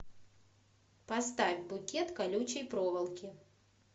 поставь букет колючей проволоки